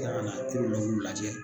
Yarɔna kuru l'u lajɛ